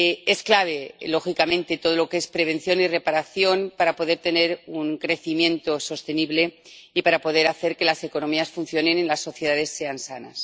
Es clave, lógicamente, todo lo que es prevención y reparación para poder tener un crecimiento sostenible y para poder hacer que las economías funcionen y las sociedades sean sanas.